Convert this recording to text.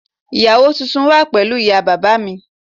Ìyàwó tuntun wà pẹ̀lú ìyá bàbá mi